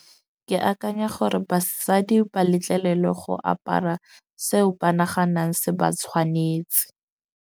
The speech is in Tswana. Ke akanya gore basadi ba letlelelwe go apara seo ba naganang se ba tshwanetse.